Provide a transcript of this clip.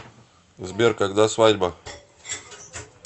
сбер когда свадьба